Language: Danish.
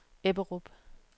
Ebberup